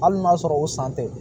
Hali n'a sɔrɔ o san tɛ